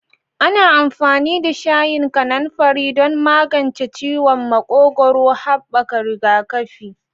Ana amfani da shayin kananfari don magance ciwon makogwaro, haɓaka rigakafi.